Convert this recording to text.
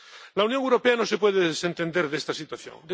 La Unión Europea no se puede desentender de esta situación.